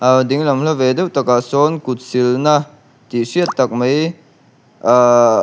a lo dinglam hla ve deuh takah sawn kut sil na tih hriat tak mai ahh--